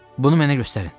Bunu mənə göstərin.